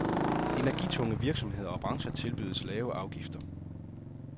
Energitunge virksomheder og brancher tilbydes lave afgifter.